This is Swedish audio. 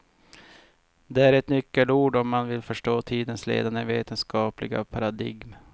Det är ett nyckelord om man vill förstå tidens ledande vetenskapliga paradigm.